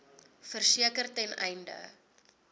verseker ten einde